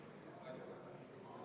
Kas hinnata seda heaks või halvaks?